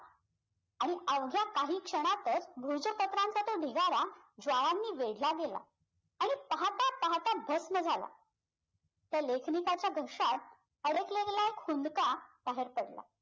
आणि अवघ्या काही क्षणातच पत्रांचा तो ढिगारा ज्वाळांनी वेधला गेला आणि पाहता पाहता भस्म झाला त्या लेखनिकाच्या घशात अडकलेला एक खुन्का बाहेर पडला